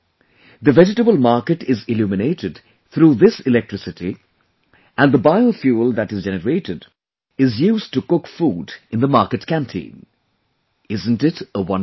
The vegetable market is illuminated through this electricity and the bio fuel that is generated is used to cook food in the market canteen isn't it a wonderful effort